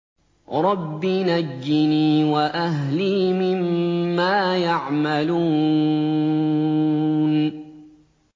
رَبِّ نَجِّنِي وَأَهْلِي مِمَّا يَعْمَلُونَ